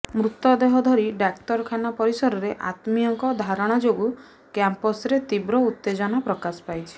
ମୃତଦେହ ଧରି ଡାକ୍ତରଖାନା ପରିସରରେ ଆତ୍ମୀୟଙ୍କ ଧାରଣା ଯୋଗୁଁ କ୍ୟାମ୍ପସରେ ତୀବ୍ର ଉତ୍ତେଜନା ପ୍ରକାଶ ପାଇଛି